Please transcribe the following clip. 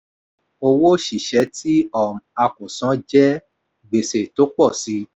owó oṣiṣẹ tí um a kò san jẹ́ gbèsè tó pọ̀ síi.